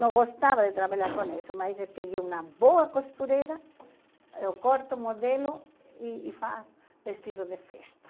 Não gostava de trabalhar com isso, mas eu peguei uma boa costureira, eu corto o modelo e e faço vestido de festa.